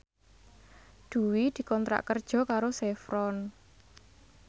Dwi dikontrak kerja karo Chevron